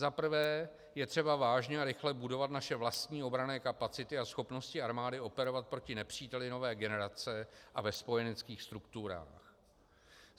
Za prvé, je třeba vážně a rychle budovat naše vlastní obranné kapacity a schopnosti armády operovat proti nepříteli nové generace a ve spojeneckých strukturách.